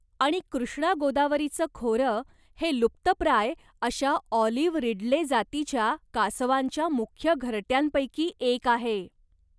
आणि कृष्णा गोदावरीचं खोरं हे लुप्तप्राय अशा ऑलिव्ह रिडले जातीच्या कासवांच्या मुख्य घरट्यांपैकी एक आहे.